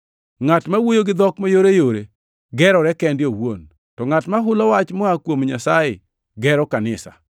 Ngʼat ma wuoyo gi dhok mayoreyore gerore kende owuon, to ngʼat ma hulo wach moa kuom Nyasaye gero kanisa.